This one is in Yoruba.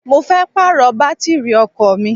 Mo fẹ́ Pààrọ̀ bátìrì ọkọ̀ mi